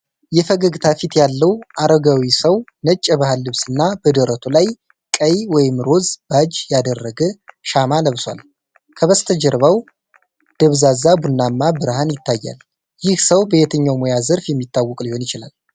የፈገግታ ፊት ያለው አረጋዊ ሰው ነጭ የባህል ልብስና በደረቱ ላይ ቀይ/ሮዝ ባጅ ያደረገ ሻማ ለብሷል። ከበስተጀርባው ደብዛዛ ቡናማ ብርሃን ይታያል። ይህ ሰው በየትኛው ሙያ ዘርፍ የሚታወቅ ሊሆን ይችላል?